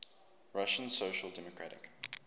russian social democratic